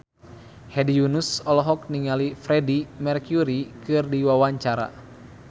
Hedi Yunus olohok ningali Freedie Mercury keur diwawancara